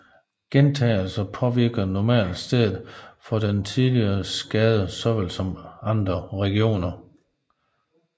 Gentagelse påvirker normalt stedet for den tidligere skade såvel som andre regioner